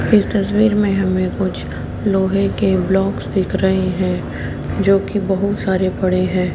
इस तस्वीर में हमें कुछ लोहे के ब्लॉक्स देख रहे हैं जो कि बहुत सारे पड़े हैं।